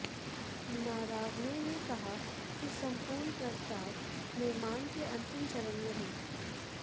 नारावने ने कहा कि संपूर्ण प्रस्ताव निर्माण के अंतिम चरण में है